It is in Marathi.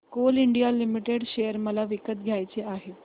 कोल इंडिया लिमिटेड शेअर मला विकत घ्यायचे आहेत